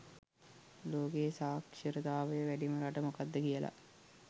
ලෝකයේ සාක්ෂරතාවය වැඩිම රට මොකක්ද කියලා